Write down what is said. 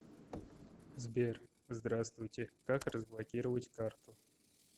сбер здраствуйте как разблокировать карту